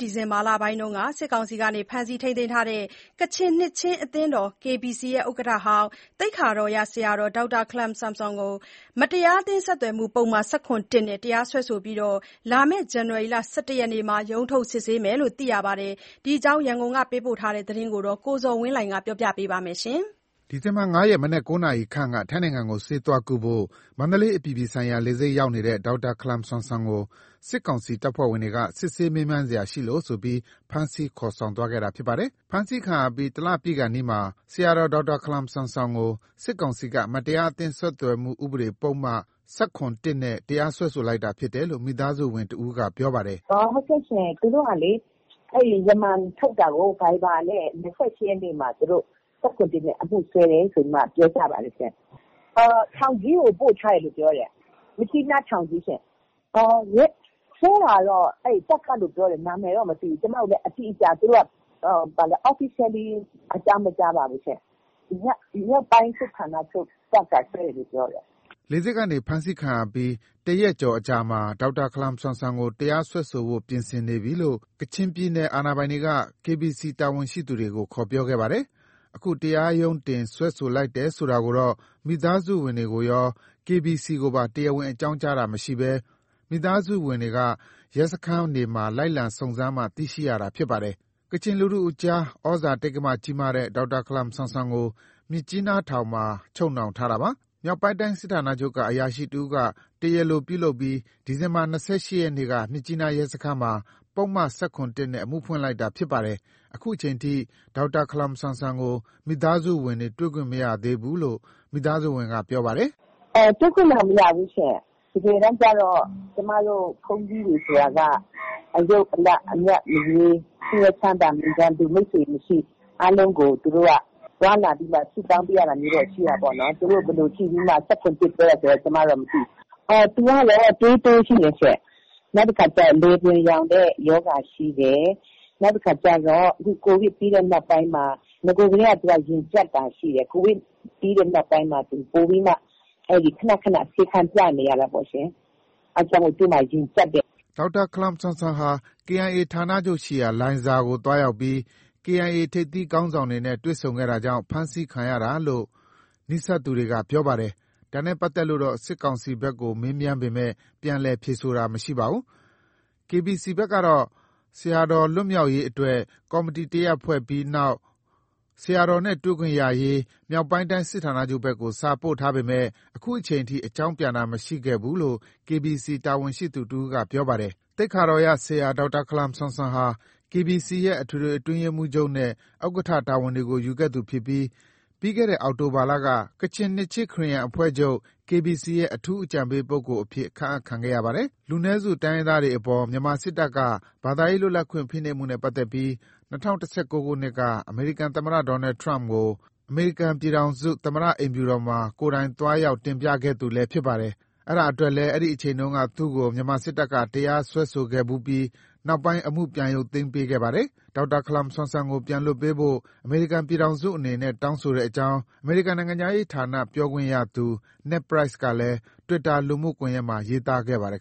ဒီဇင်ဘာလဆန်းပိုင်းမှာ စစ်ကောင်စီက ဖမ်းဆီးထိမ်းသိမ်းထားတဲ့ ကချင်နှစ်ခြင်းအသင်းတော် (KBC) ဥက္ကဋ္ဌဟောင်း သိက္ခာတော်ရ ဆရာတော် ဒေါက်တာခလမ်ဆမ်ဆွန်ကို မတရားအသင်းဆက်သွယ်မှု ပုဒ်မ ၁၇ (၁) နဲ့ တရားစွဲဆိုထားပြီး လာမယ့် ဇန်နဝါရီ ၁၁ မှာ ရုံးထုတ်စစ်ဆေးမယ်လို့ သိရပါတယ်။ ဒီအကြောင်း ရန်ကုန်က ပေးပို့တဲ့သတင်းကို ကိုဇော်ဝင်းလှိုင်က တင်ပြပေးထားပါတယ်။ ဒီဇင်ဘာ ၅ ရက် မနက် ၉ နာရီခန့်က ထိုင်းနိုင်ငံကို ဆေးသွားကုဖို့ မန္တလေး အပြည်ပြည်ဆိုင်ရာလေဆိပ်ရောက်နေတဲ့ ဒေါက်တာခလမ်ဆမ်ဆွမ်ကို စစ်ကောင်စီ တပ်ဖွဲ့ဝင်တွေက စစ်ဆေးမေးမြန်းစရာရှိလို့ဆိုပြီး ဖမ်းဆီး ခေါ်ယူသွားခဲ့တာ ဖြစ်ပါတယ်။ ဖမ်းဆီးခံရပြီး ၁ လပြည့်ခါနီးမှာ ဆရာတော် ဒေါက်တာခလမ်ဆမ်ဆွန်ကို စစ်ကောင်စီက မတရားအသင်းဆက်သွယ်မှု ဥပဒေပါ ပုဒ်မ ၁၇ (၁) နဲ့ တရားစွဲဆိုလိုက်တာဖြစ်တယ်လို့ မိသားစုဝင်တဦးက ပြောပါတယ်။ “သူတို့က ရမန်ထုတ်တာကို ၂၈ ရက်နေ့မှာ viber နဲ့ ထုတ်တယ်။ ၁၇/၁ နဲ့ စွဲတယ်လို့ပြောကြပါတယ်။ ထောင်ကြီးကို ပို့ထားတယ်ပြောတယ်။ မြစ်ကြီးနားထောင်ကြီးရှင့်။ စွဲတာကတော့ တပ်ကစွဲတယ်ပြောပါ တယ်။ သူတို့ဘက်က Officially အကြောင်းမကြားပါဘူးရှင့်။ မြောက်ပိုင်းစစ်ဌာနချုပ်တပ်ကစွဲတယ် လို့ပြောတယ်။” လေဆိပ်ကနေဖမ်းဆီးခံရပြီး ၁ ရက်ကျော်အကြာမှာ ဒေါက်တာ ခလမ်ဆမ်ဆွမ်ကို တရားစွဲဆိုဖို့ ပြင်ဆင်နေပြီလို့ ကချင်ပြည်နယ်အာဏာပိုင်တွေက KBC တာဝန်ရှိသူတွေကို ခေါ်ပြောခဲ့ပါတယ်။ အခု တရားရုံးတင် စွဲဆိုလိုက်တယ်ဆိုတာကိုတော့ မိသားစုတွေကိုရော KBC ကိုပါ တရားဝင်အကြောင်းကြားတာမရှိဘဲ မိသားစုတွေက ရဲစခန်းတွေမှာ လိုက်လံစုံစမ်းမှ ခုလိုသိရှိရတာဖြစ်ပါတယ်။ ကချင်လူထုကြား ဩဇာတိက္ကမ ကြီးမားတဲ့ ဒေါက်တာခလမ်ဆွမ်ဆွန်ကို မြစ်ကြီးနားထောင်မှာ ချုပ်နှောင်ထားတာပါ။ မြောက်ပိုင်းတိုင်းစစ်ဌာနချုပ်က အရာရှိတဦးက တရားလိုပြုလုပ်ပြီး ဒီဇင်ဘာ ၂၈ ရက်နေ့က မြစ်ကြီးနားရဲစခန်းမှာ ပုဒ်မ ၁၇ (၁) နဲ့ အမှုဖွင့်လိုက်တာဖြစ်ပါတယ်။ အခုအချိန်ထိ ဒေါက်တာ ခလမ်ဆွမ်ဆွန်ကို မိသားစုဝင်တွေ တွေ့ခွင့်မရသေးဘူးလို့ မိသားစုဝင်က ပြောပါတယ်။ “တွေ့ခွင့်တော့မရဘူး။ တကယ်တမ်းကျတော့ ဘုန်းကြီးတွေဆိုတာက အယုတ်အလတ် အမြတ်မရွေး၊ ဆင်းရဲချမ်းသာမရွေး၊ မိတ်ဆွေ ရန်သူမရှိ အားလုံးကိုသွားလာပြီးမှ ဆုတောင်းပေးရတာရှိတာပေါ့နော်။ သူတို့ ဘယ်လိုကြည့် ၁၇/၁ စွဲတယ်ဆိုတာ ကျမတို့မသိပါဘူး။ သူကသွေးတိုးရှိတယ်။ လည်ပြွန်ယောင်ရောဂါရှိတယ်။ နဂိုထဲကတော့ ရင်ကြပ်တာရှိတယ်။ ကိုဗစ်ပြီးနောက်ပိုင်းမှာ ခဏခဏဆေးခန်းပြနေရတာပေါ့ရှင်။ အဲတော့ သူ ရင်ကြပ်တယ်။” ဒေါက်တာခလမ်ဆမ်ဆွန်ဟာ KIA ဌာနချုပ်ရှိရာ လိုင်ဇာသို့သွားရောက်ပြီး KIA ထိပ်သီးခေါင်းဆောင်တွေနဲ့ တွေ့ဆုံခဲ့တာကြောင့် ဖမ်းဆီးအရေးယူခံရတာလို့ နီးစပ်သူတွေက ပြောပါတယ်။ ဒါနဲ့ပတ်သက်လို့တော့ စစ်ကောင်စီဘက်ကို မေးမြန်းပေမယ့် ပြန်လည်ဖြေဆိုတာတော့ မရှိပါဘူး။ KBC ဘက်ကတော့ ဆရာတော်လွတ်မြောက်ရေးအတွက် ကော်မတီတရပ်ဖွဲ့ပြီးနောက် ဆရာတော်နဲ့တွေ့ခွင့်ရရေး မြောက်ပိုင်းတိုင်းစစ်ဌာနချုပ်ဘက်ကို စာပို့ထားပေမဲ့ ခုချိန်ထိအကြောင်းပြန်တာမရှိခဲ့ဘူးလို့ KBC တာဝန်ရှိသူတဦးက ပြောပါတယ်။ သိက္ခာတော်ရဆရာ ဒေါက်တာ ခလမ်ဆမ်ဆွမ်ဟာ KBC ရဲ့ အထွေထွေအတွင်းရေးမှူးချုပ်နဲ့ ဥက္ကဋ္ဌတာဝန်တွေကို ယူခဲ့သူဖြစ်ပြီး ပြီးခဲ့တဲ့ အောက်တိုဘာလက ကချင်နှစ်ခြင်း ခရစ်ယာန်အဖွဲ့ချုပ် " KBC ရဲ့ အထူးအကြံပေးပုဂ္ဂိုလ် " အဖြစ် ခန့်အပ်ခံရပါတယ်။ လူနည်းစုတိုင်းရင်းသားတွေအပေါ် မြန်မာစစ်တပ်က ဘာသာရေးလွတ်လပ်ခွင့် ဖိနှိပ်မှုနဲ့ ပတ်သက်ပြီး ၂၀၁၉ ခုနှစ်က အမေရိကန်သမ္မတ ဒေါ်နယ်ထရမ့်ကို အမေရိကန်ပြည်ထောင်စုအိမ်ဖြူတော်မှာ ကိုယ်တိုင်သွားရောက် တင်ပြခဲ့သူလည်းဖြစ်ပါတယ်။ အဲဒါအတွက်လည်း အဲဒီအချိန်တုန်းက သူ့ကို မြန်မာစစ်တပ်က တရားစွဲဆိုခဲ့ဖူးပြီး နောက်ပိုင်း အမှု ရုတ်သိမ်းပေးခဲ့ပါတယ်။ ဒေါက်တာခလမ်ဆွမ်ဆွန်ကို ပြန်လွှတ်ပေးဖို့ အမေရိကန်ပြည်ထောင်စုအနေနဲ့ တောင်းဆိုကြောင်း အမေရိကန်နိုင်ငံခြားရေးဌာန ပြောခွင့်ရသူ Ned Price ကလည်း တွစ်တာလူမှုကွန်ယက်မှာရေးသားခဲ့ပါတယ်